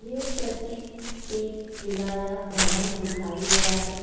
यह प्रसिद्ध एक किला या भवन दिखाई दे रहा है।